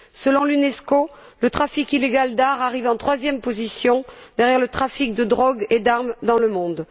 Selon l'Unesco, le trafic illégal d'art arrive en troisième position derrière le trafic de drogues et d'armes dans le monde.